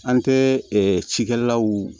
An tɛ ɛɛ cikɛlaw